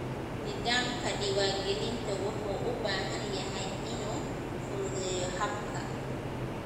Nidaamka diiwaangelinta wuxuu u baahan yahay inuu fududeeyo habka.